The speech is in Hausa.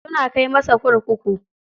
Suna kai masa kurkuku.